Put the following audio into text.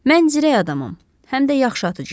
Mən cürətli adamam, həm də yaxşı atıcıyam.